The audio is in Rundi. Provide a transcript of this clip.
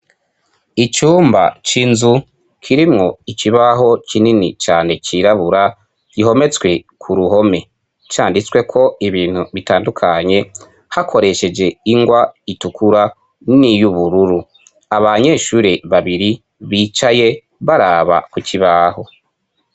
Icumba c'inzu kirimwo ikibaho kinini cane cirabura gihometswe ku ruhome canditswe ko ibintu bitandukanye hakoresheje ingwa itukura n'iyo ubururu aba nyeshure babiri bicaye baraba ku cibaho.